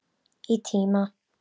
Í tíma.